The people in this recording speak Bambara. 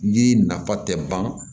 Yiri nafa tɛ ban